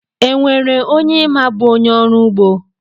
E nwere onye ị ma bụ onye ọrụugbo?